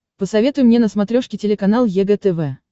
посоветуй мне на смотрешке телеканал егэ тв